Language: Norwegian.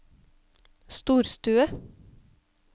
storstue